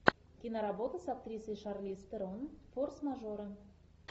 киноработа с актрисой шарлиз терон форс мажоры